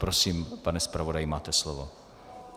Prosím, pane zpravodaji, máte slovo.